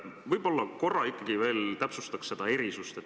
Võib-olla korra ikkagi täpsustaks seda erisust.